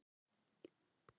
Hann tók hana á orðinu.